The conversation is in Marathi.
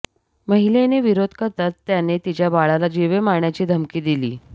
महिलेने विरोध करताच त्याने तिच्या बाळाला जिवे मारण्याची धमकी दिली